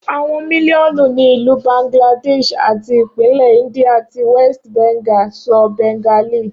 Awọn miliọnu ni Ilu Bangladesh ati ipinlẹ India ti West Bengal sọ Bengali.